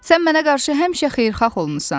Sən mənə qarşı həmişə xeyirxah olmusan.